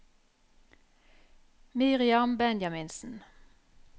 Miriam Benjaminsen